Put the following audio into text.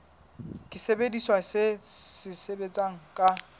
ke sesebediswa se sebetsang ka